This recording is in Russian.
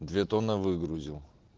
две тонны выгрузил